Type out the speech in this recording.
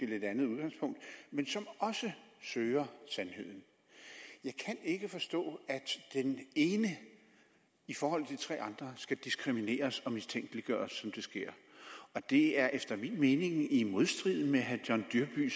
lidt andet udgangspunkt men som også søger sandheden jeg kan ikke forstå at den ene i forhold til de tre andre skal diskrimineres og mistænkeliggøres som det sker det er efter min mening i modstrid med herre john dyrby